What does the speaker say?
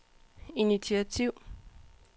initiativ